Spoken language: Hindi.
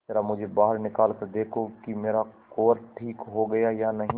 जरा मुझे बाहर निकाल कर देखो कि मेरा कुंवर ठीक हो गया है या नहीं